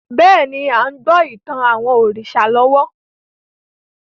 Bẹ́ẹ̀ni, a ń gbọ́ ìtàn àwọn òrìṣà lọ́wọ́